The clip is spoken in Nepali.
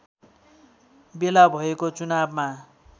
बेला भएको चुनावमा